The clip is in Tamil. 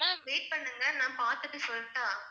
Ma'am wait பண்ணுங்க நான் பாத்துட்டு சொல்லட்டா?